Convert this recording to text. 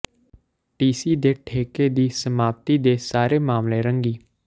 ਟੀਸੀ ਦੇ ਠੇਕੇ ਦੀ ਸਮਾਪਤੀ ਦੇ ਸਾਰੇ ਮਾਮਲੇ ਰੰਗੀ